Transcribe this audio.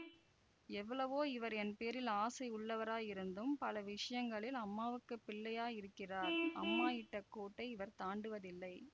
எவ்வளவோ இவர் என் பேரில் ஆசையுள்ளவராயிருந்தும் பல விஷயங்களில் அம்மாவுக்கு பிள்ளையா யிருக்கிறார் அம்மா இட்ட கோட்டை இவர் தாண்டுவதில்லை